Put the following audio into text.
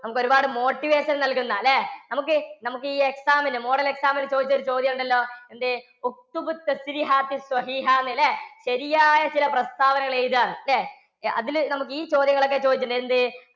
നമുക്ക് ഒരുപാട് motivation നൽകുന്ന അല്ലേ? നമുക്ക്, നമുക്ക് ഈ exam ന് ഈ model exam ന് ചോദിച്ച ഒരു ചോദ്യം ഉണ്ടല്ലോ. എന്തേ അല്ലേ ശരിയായ ചില പ്രസ്താവനകൾ എഴുതാൻ. അതിൽ നമുക്ക് ഈ ചോദ്യങ്ങളൊക്കെ ചോദിച്ചില്ലേ എന്തേ